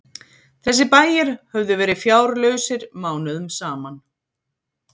Þessir bæir höfðu verið fjárlausir mánuðum saman.